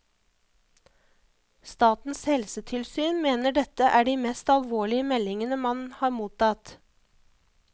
Statens helsetilsyn mener dette er de mest alvorlige meldingene man har mottatt.